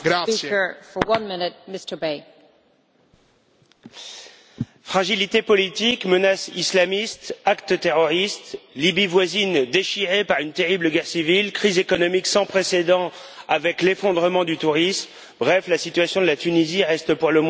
Madame la Présidente, fragilité politique, menace islamiste, actes terroristes, Libye voisine déchirée par une terrible guerre civile, crise économique sans précédent avec l'effondrement du tourisme, bref, la situation de la Tunisie reste pour le moins préoccupante.